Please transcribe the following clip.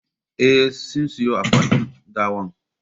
Eh, sun siyon akwatin gawar